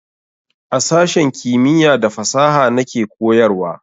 A sashen kimiya da fasaha na ke koyarwa